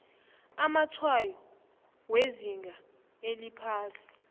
amatshwayo wezinga eliphasi